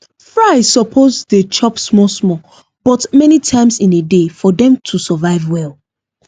fry suppose dey chop small small but many times in a day for them to survive well